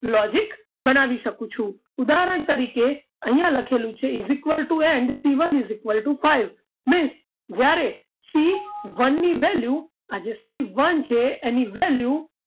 Logic બનાવી શકું છું ઉદાહરણ તરીકે અહીંયા લખેલું છે is equal to and c one is equal to five ને જ્યારે c one ની value આજે Cone છે એની value